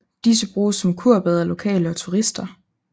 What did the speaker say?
Disse bruges som kurbade af lokale og turister